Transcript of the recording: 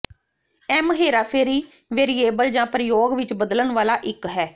M ਹੇਰਾਫੇਰੀ variable ਜਾਂ ਪ੍ਰਯੋਗ ਵਿੱਚ ਬਦਲਣ ਵਾਲਾ ਇੱਕ ਹੈ